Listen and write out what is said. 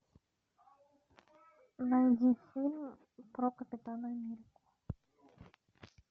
найди фильм про капитана америку